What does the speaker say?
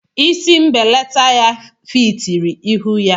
Isi mbelata ya fitiri ihu ya.